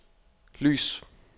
lys